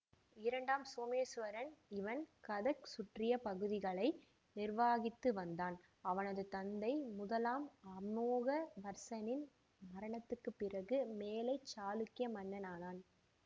இரண்டாம் சோமேசுவரன் இவன் கதக் சுற்றிய பகுதிகளை நிர்வகித்துவந்தான் அவனது தந்தை முதலாம் அமோகவர்சனின் மரணத்திற்கு பிறகு மேலை சாளுக்கிய மன்னனானான்